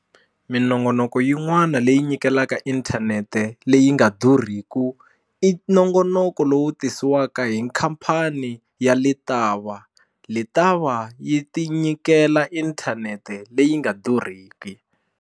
Minongonoko yin'wana leyi nyikelaka inthanete leyi nga durhiki i nongonoko lowu tisiwaka hi khampani ya Letaba Letaba yi tinyikela inthanete leyi nga durhiki.